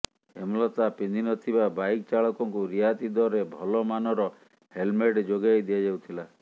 ହେମଲତା ପିନ୍ଧି ନଥିବା ବାଇକ ଚାଳକଙ୍କୁ ରିହାତି ଦରରେ ଭଲ ମାନର ହେଲମେଟ ଯୋଗାଇ ଦିଆଯାଉଥିଲା